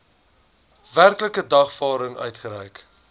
werklike dagvaarding uitgereik